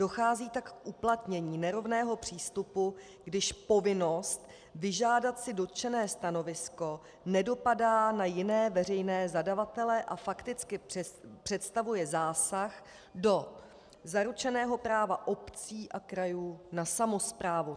Dochází tak k uplatnění nerovného přístupu, když povinnost vyžádat si dotčené stanovisko nedopadá na jiné veřejné zadavatele a fakticky představuje zásah do zaručeného práva obcí a krajů na samosprávu.